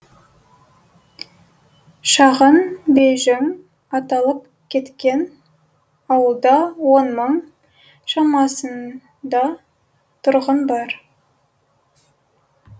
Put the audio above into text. шағын бейжің аталып кеткен ауылда он мың шамасын да тұрғын бар